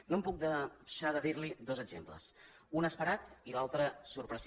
no puc deixar de dir li dos exemples un d’esperat i l’altre sorprenent